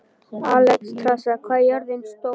Alexstrasa, hvað er jörðin stór?